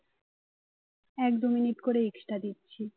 এক দুই মিনিট করে extra দিচ্ছে